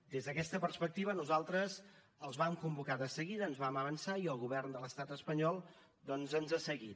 des d’aquesta perspectiva nosaltres els vam convocar de seguida ens vam avançar i el govern de l’estat espanyol doncs ens ha seguit